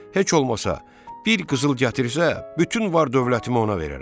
Heç olmasa bir qızıl gətirsə, bütün var-dövlətimi ona verərəm.